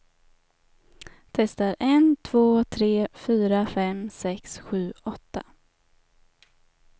Testar en två tre fyra fem sex sju åtta.